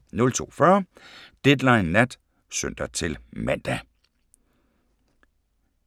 02:40: Deadline Nat (søn-man)